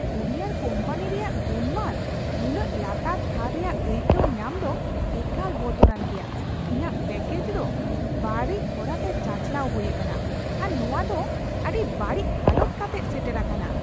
Courier company ᱨᱮᱭᱟᱜ ᱜᱩᱱᱢᱟᱱ ᱱᱩᱱᱟᱹᱜ ᱞᱟᱛᱟᱨ ᱛᱷᱟᱨ ᱨᱮᱭᱟᱜ ᱟᱹᱭᱠᱟᱹᱣ ᱧᱟᱢ ᱫᱚ ᱮᱠᱟᱞ ᱵᱚᱛᱚᱨᱟᱱ ᱜᱮᱭᱟ ᱾ ᱤᱧᱟᱹᱜ ᱯᱮᱹᱠᱮᱡ ᱫᱚ ᱵᱟᱹᱲᱤᱡ ᱦᱚᱨᱟᱛᱮ ᱪᱟᱪᱟᱞᱟᱣ ᱦᱩᱭ ᱟᱠᱟᱱᱟ, ᱟᱨ ᱱᱚᱶᱟ ᱫᱚ ᱟᱹᱰᱤ ᱵᱟᱹᱲᱤᱡ ᱦᱟᱞᱚᱛ ᱠᱟᱛᱮᱜ ᱥᱮᱴᱮᱨ ᱟᱠᱟᱱᱟ ᱾